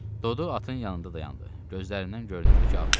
Dodu atın yanında dayandı, gözlərindən görünürdü ki, ağlayıb.